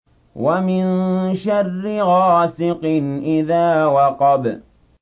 وَمِن شَرِّ غَاسِقٍ إِذَا وَقَبَ